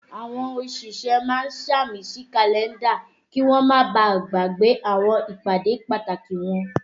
Àwọn òṣìṣẹ́ máa ń sàmì sí Kàlẹ́ndà kí wọ́n ma bàá gbàgbé àwọn ìpàdé pàtàkì wọn